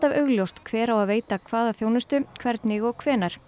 augljóst hver á að veita hvaða þjónustu hvernig og hvenær